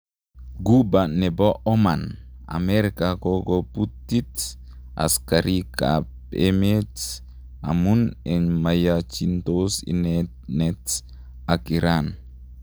Ghuba nepo Oman,:amerika kokoputit askarika amet amun en mayachitos inenet ak iran